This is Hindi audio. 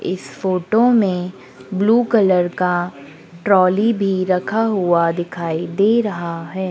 इस फोटो में ब्लू कलर का टॉली भी रखा हुआ दिखाई दे रहा है।